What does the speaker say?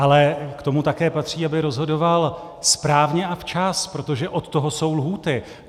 Ale k tomu také patří, aby rozhodoval správně a včas, protože od toho jsou lhůty.